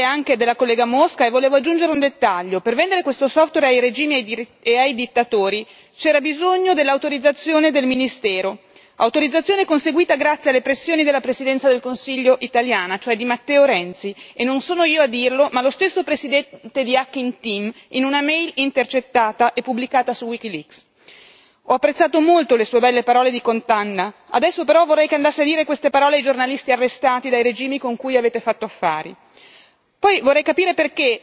Ho appena sentito le parole dell'onorevole Mosca e volevo aggiungere un dettaglio per vendere questo software ai regimi e ai dittatori c'era bisogno dell'autorizzazione del ministero, autorizzazione conseguita grazie alle pressioni della Presidenza del Consiglio italiana, cioè di Matteo Renzi, e non sono io a dirlo, ma lo stesso presidente di Hacking Team in una mail intercettata e pubblicata su WikiLeaks. Complimenti collega, ho apprezzato molto le sue belle parole di condanna, adesso però vorrei che andasse a dire queste parole ai giornalisti arrestati dai regimi con cui avete fatto affari.